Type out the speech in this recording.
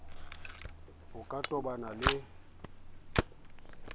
ao a ka tobanang le